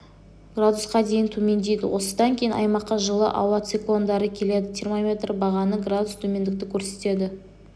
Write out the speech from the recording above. градусқа дейін төмендейді осыдан кейін аймаққа жылы ауа циклондары келеді термометр бағаны градус төмендікті көрсетеді